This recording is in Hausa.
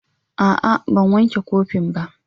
A'a, ban wanke kopin ba.